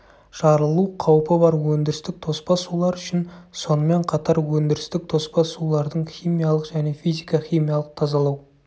жарылу қаупі бар өндірістік тоспа сулар үшін сонымен қатар өндірістік тоспа сулардың химиялық және физика-химиялық тазалау